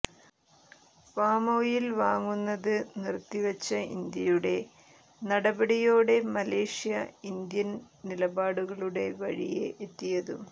palm oil വാങ്ങുന്നത് നിർത്തിവച്ച ഇന്ത്യയുടെ നടപടിയോടെ മലേഷ്യ ഇന്ത്യൻ നിലപാടുകളുടെ വഴിയേ എത്തിയതും